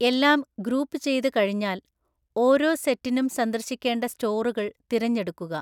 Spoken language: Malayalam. എല്ലാം ഗ്രൂപ്പുചെയ്‌ത് കഴിഞ്ഞാൽ, ഓരോ സെറ്റിനും സന്ദർശിക്കേണ്ട സ്റ്റോറുകൾ തിരഞ്ഞെടുക്കുക.